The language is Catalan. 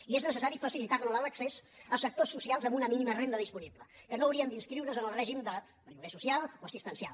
i és necessari facilitar hi l’accés a sectors socials amb una mínima renda disponible que no haurien d’inscriure’s en el règim de lloguer social o assistencial